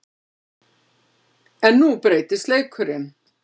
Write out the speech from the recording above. En nú breytist leikurinn.